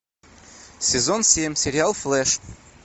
сезон семь сериал флэш